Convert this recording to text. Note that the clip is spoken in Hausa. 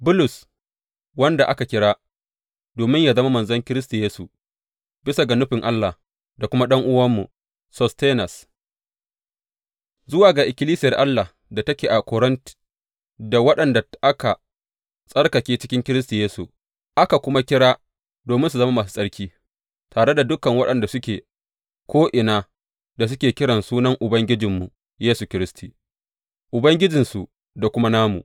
Bulus, wanda aka kira domin yă zama manzon Kiristi Yesu, bisa ga nufin Allah, da kuma ɗan’uwanmu Sostenes, Zuwa ga ikkilisiyar Allah da take a Korint, da waɗanda aka tsarkake cikin Kiristi Yesu, aka kuma kira domin su zama masu tsarki, tare da dukan waɗanda suke ko’ina da suke kiran sunan Ubangijinmu Yesu Kiristi, Ubangijinsu da kuma namu.